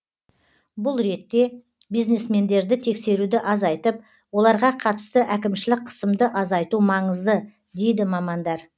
бұл ретте бизнесмендерді тексеруді азайтып оларға қатысты әкімшілік қысымды азайту маңызы дейді мамандар